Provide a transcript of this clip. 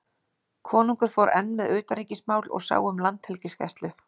Konungur fór enn með utanríkismál og sá um landhelgisgæslu.